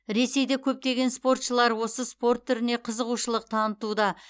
ресейде көптеген спортшылар осы спорт түріне қызығушылық танытуда